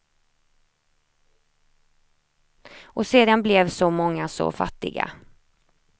Och sedan blev så många så fattiga.